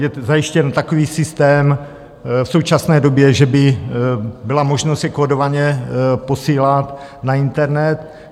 je zajištěn takový systém v současné době, že by byla možnost je kódovaně posílat na internet.